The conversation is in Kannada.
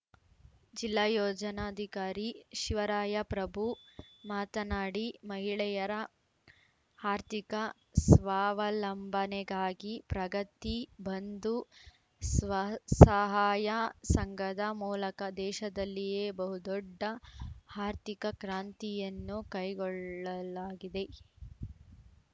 ಜಿಲ್ಲಾ ಯೋಜನಾಧಿಕಾರಿ ಶಿವರಾಯಪ್ರಭು ಮಾತನಾಡಿ ಮಹಿಳೆಯರ ಹಾರ್ಥಿಕ ಸ್ವಾವಲಂಬನೆಗಾಗಿ ಪ್ರಗತಿ ಬಂಧು ಸ್ವಸಹಾಯ ಸಂಘದ ಮೂಲಕ ದೇಶದಲ್ಲಿಯೇ ಬಹು ದೊಡ್ಡ ಹಾರ್ಥಿಕ ಕ್ರಾಂತಿಯನ್ನು ಕೈಗೊಳ್ಳಲಾಗಿದೆ